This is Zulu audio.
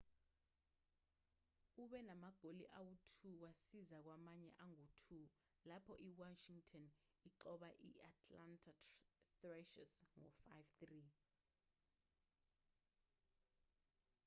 ube namagoli angu-2 wasiza kwamanye angu-2 lapho iwashington inqoba i-atlanta thrashers ngo-5-3